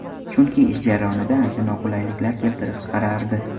Chunki ish jarayonida ancha noqulayliklar keltirib chiqarardi.